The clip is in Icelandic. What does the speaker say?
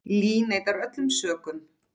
Lee neitar öllum sökum.